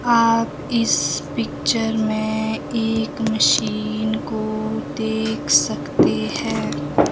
आप इस पिक्चर में एक मशीन को देख सकते हैं।